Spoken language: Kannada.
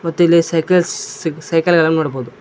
ಮತ್ತು ಇಲ್ಲಿ ಸೈಕಲ್ಸ್ ಸೈಕಲ್ ಅನ್ನು ನೋಡಬಹುದು.